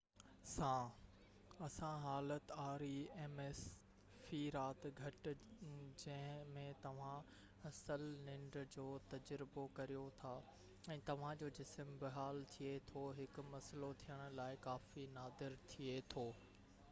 في رات گهٽ rems سان اها حالت جنهن ۾ توهان اصل ننڊ جو تجربو ڪريو ٿا ۽ توهان جو جسم بحال ٿئي ٿو هڪ مسئلو ٿيڻ لاءِ ڪافي نادر ٿئي ٿو